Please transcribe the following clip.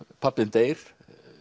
pabbi þinn deyr